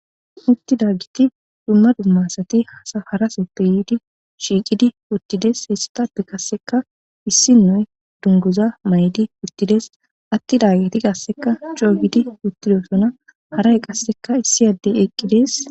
uttida giti dumma dumma sati hasafaraseppe yiidi shiiqidi uttides hessatappe qasseka issi noy dunguza may'di uttides atti dagiti qasseka coogidi uttidosona haray qasseka issi addey eqqides